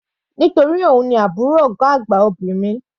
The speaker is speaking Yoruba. Nítorí òun ni àbúrò ọ̀gá àgbà obìnrin.